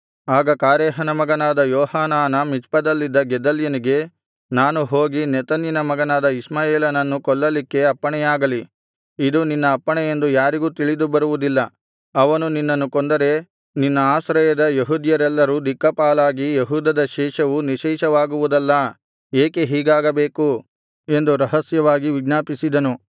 ಆಗ ಕಾರೇಹನ ಮಗನಾದ ಯೋಹಾನಾನ ಮಿಚ್ಪದಲ್ಲಿದ್ದ ಗೆದಲ್ಯನಿಗೆ ನಾನು ಹೋಗಿ ನೆತನ್ಯನ ಮಗನಾದ ಇಷ್ಮಾಯೇಲನನ್ನು ಕೊಲ್ಲಲಿಕ್ಕೆ ಅಪ್ಪಣೆಯಾಗಲಿ ಇದು ನಿನ್ನ ಅಪ್ಪಣೆ ಎಂದು ಯಾರಿಗೂ ತಿಳಿದು ಬರುವುದಿಲ್ಲ ಅವನು ನಿನ್ನನ್ನು ಕೊಂದರೆ ನಿನ್ನ ಆಶ್ರಯದ ಯೆಹೂದ್ಯರೆಲ್ಲರೂ ದಿಕ್ಕಾಪಾಲಾಗಿ ಯೆಹೂದದ ಶೇಷವು ನಿಶ್ಶೇಷವಾಗುವುದಲ್ಲಾ ಏಕೆ ಹೀಗಾಗಬೇಕು ಎಂದು ರಹಸ್ಯವಾಗಿ ವಿಜ್ಞಾಪಿಸಿದನು